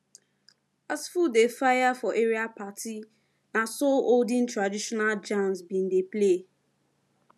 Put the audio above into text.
as food dey fire for area party naso olden traditional jams been dey play